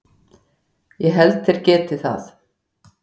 Ég held þeir geti það.